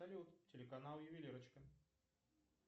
салют телеканал ювелирочка